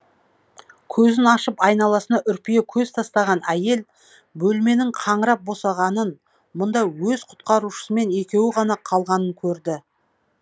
көзін ашып айналасына үрпие көз тастаған әйел бөлменің қаңырап босағанын мұнда өз құтқарушысымен екеуі ғана қалғанын көрді